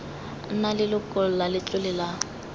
nna leloko la letlole la